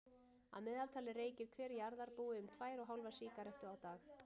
Að meðaltali reykir hver jarðarbúi um tvær og hálfa sígarettu á dag.